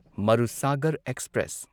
Marusagar express